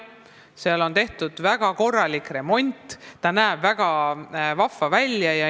Seal on tehtud väga korralik remont ja see näeb väga vahva välja.